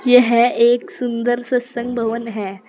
यह एक सुंदर सत्संग भवन है।